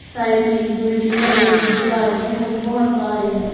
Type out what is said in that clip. Side में एक building है और एक दीवार है और बहुत तारे हैं।